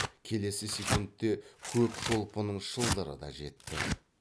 келесі секундте көп шолпының шылдыры да жетті